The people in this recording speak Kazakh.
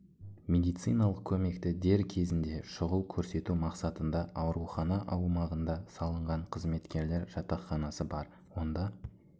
медициналық көмекті дер кезінде шұғыл көрсету мақсатында аурухана аумағында салынған қызметкерлер жатақханасы бар онда